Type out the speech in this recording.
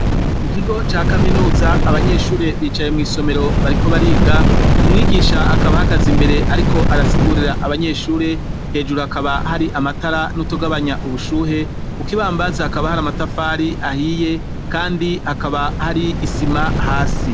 Mu kigo ca kaminuza abanyeshure bicaye mw'isomero bariko bariga umwigisha akaba hagaza imbere, ariko arasigurera abanyeshure hejuru hakaba hari amatara n'utugabanya ubushuhe ukoibambazi hakaba hari amatafari ahiye, kandi hakaba hari isima hasi.